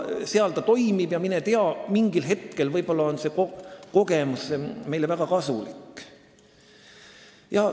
Seal see toimib ja mine tea, mingil hetkel on see kogemus meile võib-olla väga kasulik.